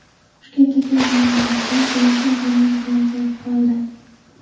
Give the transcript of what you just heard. Toshkentga kelganimdan keyin telefon jarang-jarang qilib qoldi.